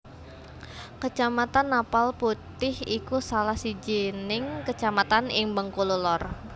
Kecamatan Napal Putih iku salah sijining kecamatan ing Bengkulu Lor